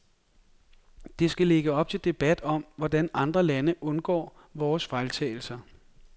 Det skal lægge op til debat om, hvordan andre lande undgår vores fejltagelser.